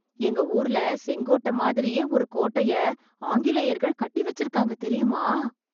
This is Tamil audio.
எங்க ஊர்ல செங்கோட்டை மாதிரியே ஒரு கோட்டையை ஆங்கிலேயர்கள் கட்டி வச்சிருக்காங்க தெரியுமா ?